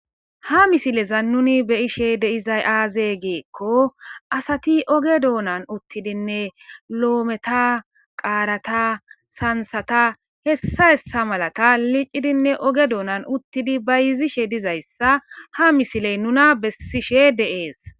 ha misileza nuni beyishe deizay aazee geekko asati oge doonan uttidinne loometa qaarata sansata hessa hessa malata licidinne oge doonan uttidi ba yizishe dizayssa ha misiley nuna bessishe de7ees